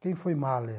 Quem foi Mahler?